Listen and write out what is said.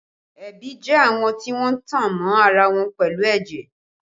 Ẹbí jẹ́ àwọn tí wọ́n tan mọ́ ara wọn pẹ̀lú ẹ̀jẹ̀